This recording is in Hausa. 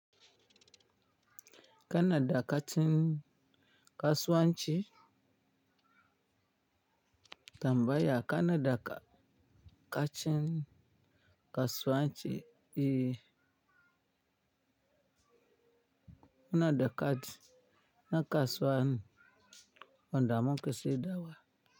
Kanada ka cin kasuwanci tambaya Kanada ka cin kasuwanci yi. Kanada na kasuwa wanda muke shaida wa.